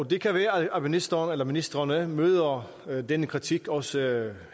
det kan være at ministrene at ministrene møder denne kritik også